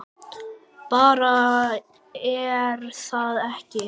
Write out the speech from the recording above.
Bara, er það ekki?